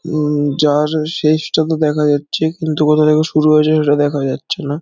হু যার শেষ টুকু দেখা যাচ্ছে কিন্তু কোথা থেকে শুরু হয়েছে সেটা দেখা যাচ্ছে না।